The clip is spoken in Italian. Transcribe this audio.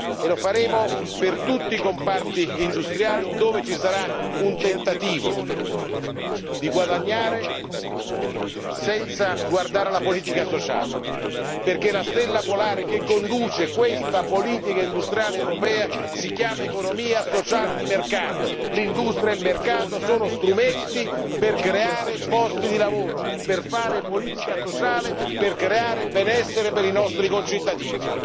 e lo faremo per tutti i comparti industriali dove ci sarà un tentativo di guadagnare senza guardare la politica sociale, perché la stella polare che conduce questa politica industriale europea si chiama Economia sociale di mercato l'industria e il mercato sono strumenti per creare posti di lavoro, per fare politica sociale e per creare benessere per i nostri concittadini.